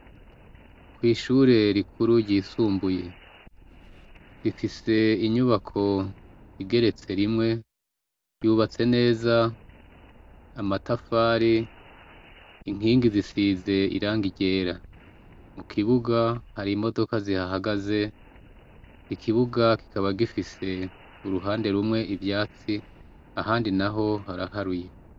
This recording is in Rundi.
Kwishure rikuru ryisumbuye rifise inyubako igeretserimwe ryubatse neza amatafari inkigi zise irangi ryera mukibuga hari imodoka zihagagaze ikibuga kikaba gifise uruhande rumwe ivyatsi ahandi naho haraharuye